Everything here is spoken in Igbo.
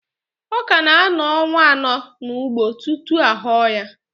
Ọka na-anọ ọnwa anọ n'ugbo tutu aghọrọ ya